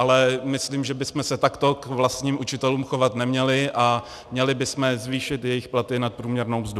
Ale myslím, že bychom se takto k vlastním učitelům chovat neměli a měli bychom zvýšit jejich platy nad průměrnou mzdu.